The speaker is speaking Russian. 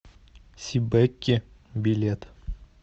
сибэкки билет